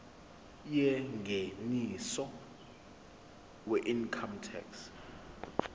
yengeniso weincome tax